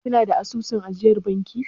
Kina da asusun ajiyar banki?